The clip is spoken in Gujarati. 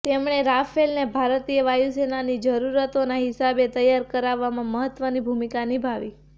તેમણે રાફેલને ભારતીય વાયુસેનાની જરૂરતોના હિસાબે તૈયાર કરાવવામાં મહત્વની ભૂમિકા નિભાવી